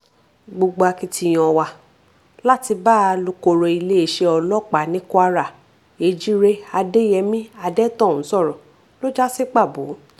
gbogbo akitiyan wa láti bá alūkkoro iléeṣẹ́ ọlọ́pàá ní kwara èjíre adéyẹmi adẹ́tọ̀ún sọ̀rọ̀ ló já sí pàbó